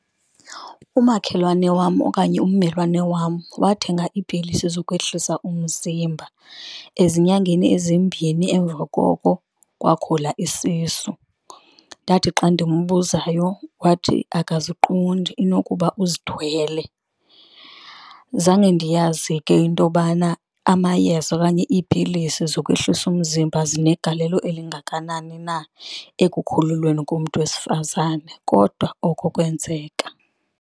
Umakhelwane wam okanye ummelwane wam wathenga iipilisi zokwehlisa umzimba. Azinyangeni ezimbini emva koko kwakhula isisu. Ndathi xa ndimbuzayo wathi abaziqondi inokuba uzithwele. Zange ndiyazi ke into yobana amayeza okanye iipilisi zokwehlisa umzimba zinegalelo elingakanani na ekukhulelweni komntu wesifazane, kodwa oko kwenzeka.